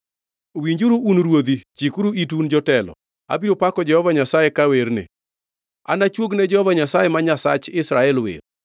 “Winjuru, un ruodhi! Chikuru itu, un jotelo! Abiro pako Jehova Nyasaye ka awerne; anachuog ne Jehova Nyasaye ma Nyasach Israel wer.